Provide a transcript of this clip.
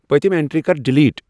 پٔتِم اینٹری کر ڈیلیٹ ۔